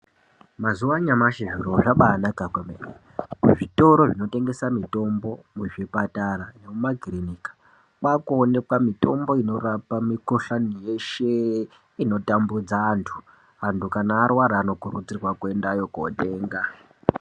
Mazuva anyamashi zviro zvabanaka kwemene muzvitoro zvinotengesa mitombo muzvipatara nemumakirinika kwakuonekwa mitombo inorapa mikoshani yeshe inotambudza antu, antu kana arwara anorudzirwa kuendayo kotenga.